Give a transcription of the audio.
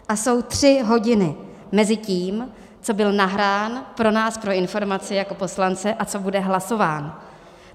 A jsou tři hodiny mezi tím, co byl nahrán pro nás pro informaci jako poslance, a co bude hlasován.